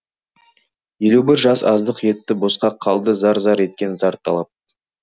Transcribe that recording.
елу бір жас аздық етті босқа қалды зар зар еткен зар талап